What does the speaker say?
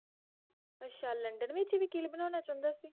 ਅੱਛਾ ਲੰਡਨ ਵਿਚ ਵਕੀਲ ਬਣਾਉਣਾ ਚਾਹੁੰਦਾ ਸੀ?